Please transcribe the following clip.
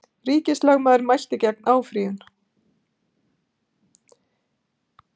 Ríkislögmaður mælti gegn áfrýjun